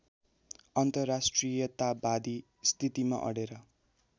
अन्तर्राष्ट्रियतावादी स्थितिमा अडेर